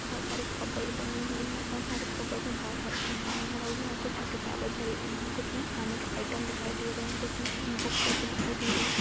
बहुत सारे कप्बोर्ड बने हुए है बहुत सारे कप्बोर्ड में बहुत सारा समान भरा है कुछ में किताबे भरी हुई है कुछ में खाने के आइटम दिखाई दे रहे है कुछ में बुक जैसी दिखाई दे रही है।